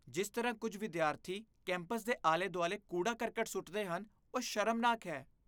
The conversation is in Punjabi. ਜਿਸ ਤਰ੍ਹਾਂ ਕੁੱਝ ਵਿਦਿਆਰਥੀ ਕੈਂਪਸ ਦੇ ਆਲੇ ਦੁਆਲੇ ਕੂੜਾ ਕਰਕਟ ਸੁੱਟਦੇ ਹਨ, ਉਹ ਸ਼ਰਮਨਾਕ ਹੈ